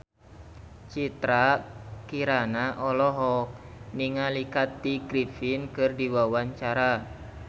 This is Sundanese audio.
Citra Kirana olohok ningali Kathy Griffin keur diwawancara